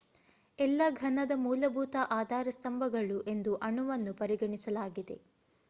ಎಲ್ಲ ಘನದ ಮೂಲಭೂತ ಆಧಾರ ಸ್ತಂಭಗಳು ಎಂದು ಅಣುವನ್ನು ಪರಿಗಣಿಸಲಾಗಿದೆ